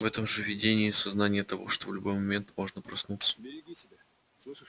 в этом же видении сознание того что в любой момент можно проснуться отсутствовало начисто